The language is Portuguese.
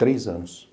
Três anos.